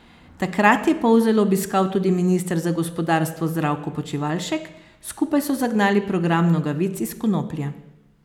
Takrat je Polzelo obiskal tudi minister za gospodarstvo Zdravko Počivalšek, skupaj so zagnali program nogavic iz konoplje.